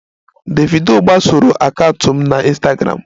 Davido gbasoro akaụntụ m na Ịnstagramụ